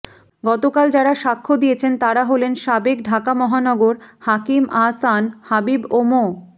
গতকাল যাঁরা সাক্ষ্য দিয়েছেন তাঁরা হলেন সাবেক ঢাকা মহানগর হাকিম আহসান হাবীব ও মো